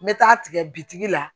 N bɛ taa tigɛ bitigi la